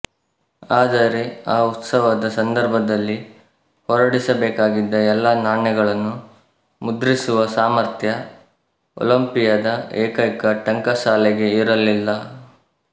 ಆದರೆ ಆ ಉತ್ಸವದ ಸಂದರ್ಭದಲ್ಲಿ ಹೊರಡಿಸಬೇಕಾಗಿದ್ದ ಎಲ್ಲ ನಾಣ್ಯಗಳನ್ನೂ ಮುದ್ರಿಸುವ ಸಾಮಥ್ರ್ಯ ಒಲಿಂಪಿಯದ ಏಕೈಕ ಟಂಕಸಾಲೆಗೆ ಇರಲಿಲ್ಲ